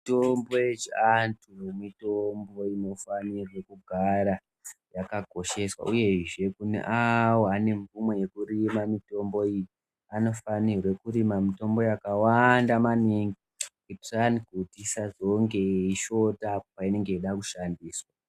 Mitombo yechianhu mitombo inofanirwe kugara yakakosheswa uyezve neavo vane mvumo yekurima mitombo iyi vanofanirwe kurime mitombo yakawanda maningi kuitira kuti isazongeyeishota painenge yakuda kushandiswa .